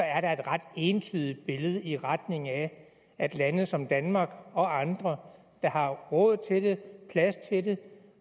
er der et ret entydigt billede i retning af at lande som danmark og andre der har råd til det plads til det